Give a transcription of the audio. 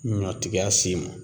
Ɲɔtigiya s'i ma